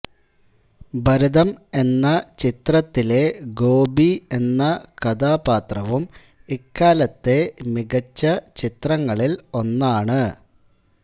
ഭരതം എന്ന ചിത്രത്തിലെ ഗോപി എന്ന കഥാപാത്രവും ഇക്കാലത്തെ മികച്ച ചിത്രങ്ങളിൽ ഒന്നാണ്